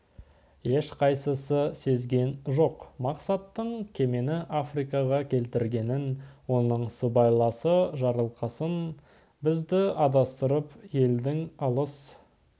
ешқайсысы сезген жоқ мақсаттың кемені африкаға келтіргенін оның сыбайласы жарылқасын бізді адастырып елдің алыс